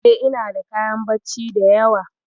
E, inada kayan bacci da yawa.